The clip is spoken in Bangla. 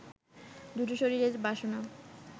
দু’টো শরীরের বাসনা